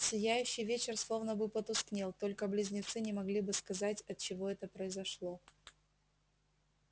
сияющий вечер словно бы потускнел только близнецы не могли бы сказать отчего это произошло